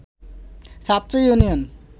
ছাত্র ইউনিয়ন